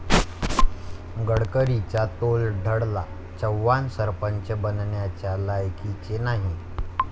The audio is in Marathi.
गडकरींचा तोल ढळला, 'चव्हाण सरपंच बनण्याच्या लायकीचे नाही'